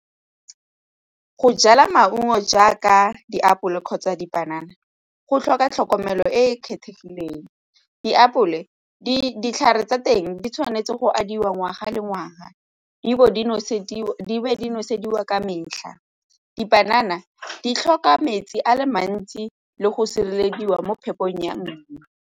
Go jala maungo jaaka diapole kgotsa dipanana go tlhoka tlhokomelo e e kgethegileng. Diapole, ditlhare tsa teng di tshwanetse go abiwa ngwaga le ngwaga di nosediwa nosediwa ka metlha. Dipanana di tlhoka metsi a le mantsi le go sirelediwa mo phetogong ya .